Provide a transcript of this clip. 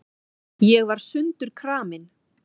Ég var sundurkramin.